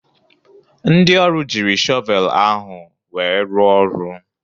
Ndị ọrụ jiri shọvel ahụ wee rụ ọrụ.